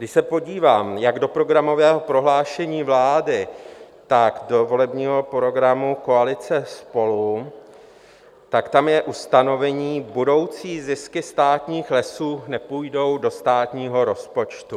Když se podívám jak do programového prohlášení vlády, tak do volebního programu koalice SPOLU, tak tam je ustanovení: budoucí zisky státních lesů nepůjdou do státního rozpočtu.